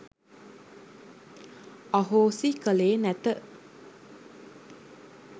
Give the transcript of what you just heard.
අහෝසි කළේ නැත